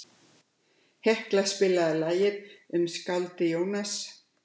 Hekla, spilaðu lagið „Um skáldið Jónas“.